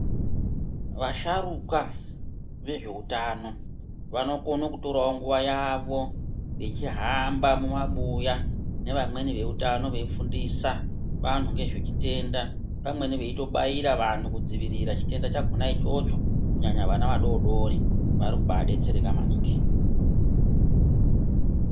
Vasharukwa vezveutano vanokone kutorawo nguwa yawo vechihamba mumabuya nevamweni veutano veifundisa vantu ngezvechitenda pamweni veitobaira vantu kudzivirira chitenda chakona ichocho kunyanya vana vadodori varikubaa detsereka maningi.